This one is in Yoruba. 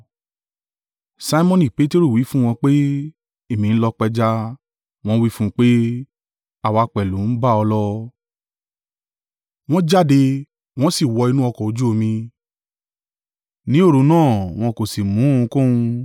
Simoni Peteru wí fún wọn pé, “Èmi ń lọ pẹja!” Wọ́n wí fún un pé, “Àwa pẹ̀lú ń bá ọ lọ.” Wọ́n jáde, wọ́n sì wọ inú ọkọ̀ ojú omi; ní òru náà wọn kò sì mú ohunkóhun.